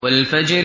وَالْفَجْرِ